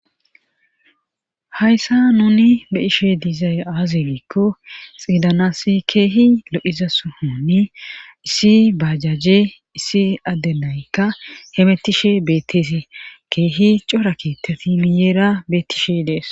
Hayssa nuni be ishe diizay aazigikko xiidanassi keehi lo'iza suhunni issi bajaje issi addenaykka hemettishe beetteesi keehi corakitafi miyeera bettishe dees.